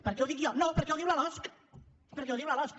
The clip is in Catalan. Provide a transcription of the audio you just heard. perquè ho dic jo no perquè ho diu la losc perquè ho diu la losc